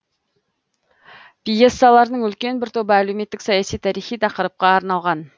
пьесаларының үлкен бір тобы әлеуметтік саяси тарихи тақырыпқа арналған